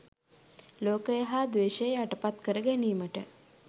ලෝකය හා ද්වේෂය යටපත් කර ගැනීමට